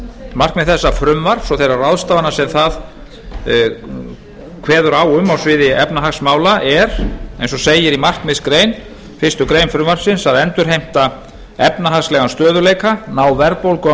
markmið þessa frumvarps og þeirra ráðstafana sem það kveður á um á sviði efnahagsmála er eins og segir í markmiðsgrein fyrstu grein frumvarpsins að endurheimta efnahagslegan stöðugleika ná verðbólgu á